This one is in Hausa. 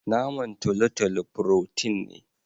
naman talotalo "protein " ne.